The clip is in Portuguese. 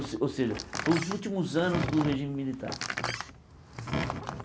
Ou ou seja, foi os últimos anos do regime militar.